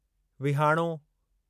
विहाणो